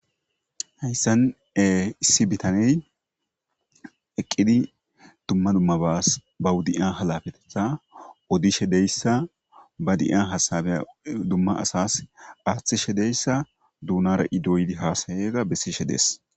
Hayssan e issi bitaney eqqidi dumma dmaaba hudiya halafetetha odishe deyssa ba diya hasabeya dumma asas aaththishe deyssa duunara idoydi haasayega bessishe dees